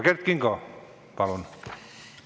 Kert Kingo, palun!